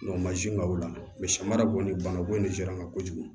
mansin ka o la samara bon nin banako in de sera n ma kojugu